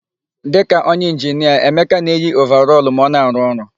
Dịka onye inginia, Emeka na-eyi ovarọlụ ma ọ na-arụ ọrụ.